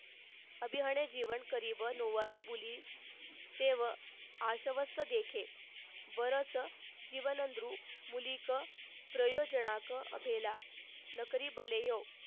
अभिहने जीवन करी व लोवारी बुली तेव आश्वस्थ देखे बरंच जीवनदृ मुलीक प्रयोजनाक केला नकरीबलेयो